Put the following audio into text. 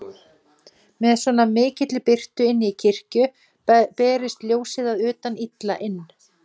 Með svo mikilli birtu inni í kirkju berist ljósið að utan illa inn.